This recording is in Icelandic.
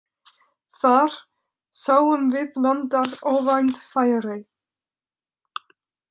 Þar sáum við landar óvænt færi.